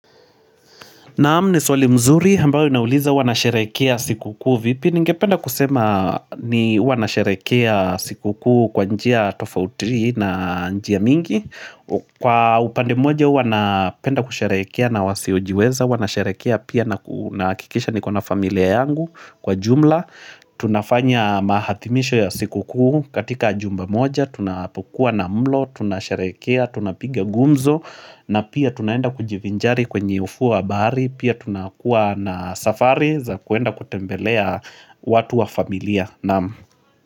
Naam ni swali mzuri, ambayo inauliza huwa nasherehekea sikukuu vipi, ningependa kusema ni huwa nasherehekea sikukuu kwa njia tofauti na njia mingi Kwa upande moja huwa napenda kusherehekea na wasiojiweza, huwa na sherehekea pia nahakikisha niko na familia yangu kwa jumla tunafanya mahathimisho ya siku kuu katika jumba moja Tunapokua na mlo, tunasherehekea, tunapiga gumzo na pia tunaenda kujivinjari kwenye ufuo wa bahari Pia tunakuwa na safari za kuenda kutembelea watu wa familia naam.